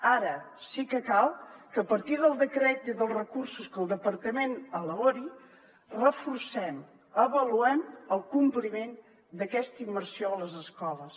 ara sí que cal que a partir del decret i dels recursos que el departament elabori reforcem avaluem el compliment d’aquesta immersió a les escoles